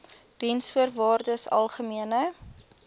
diensvoorwaardesalgemene